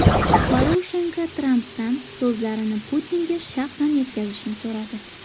Poroshenko Trampdan so‘zlarini Putinga shaxsan yetkazishni so‘radi .